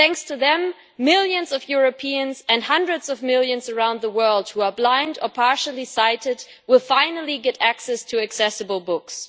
Thanks to them, millions of Europeans and hundreds of millions around the world who are blind or partially sighted will finally get access to accessible books.